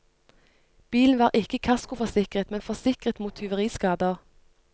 Bilen var ikke kaskoforsikret, men forsikret mot tyveriskader.